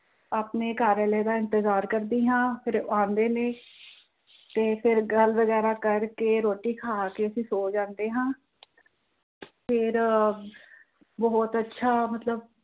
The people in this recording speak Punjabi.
ਆਪਣੇ ਘਰ ਵਾਲੇ ਦਾ ਇਤਜ਼ਾਰ ਕਰਦੀ ਹਾਂ ਫਿਰ ਉਹ ਆਉਂਦੇ ਨੇ ਤੇ ਫਿਰ ਗੱਲ ਵਗੈਰਾ ਕਰ ਕਿ ਰੋਟੀ ਖਾ ਕਿ ਅਸੀਂ ਸੋ ਜਾਂਦੇ ਹਾਂ ਫਿਰ ਅਹ ਬਹੁਤ ਅੱਛਾ ਮਤਲਬ